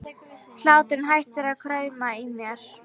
Hláturinn hættir að krauma í mér.